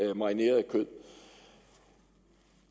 er marineret kød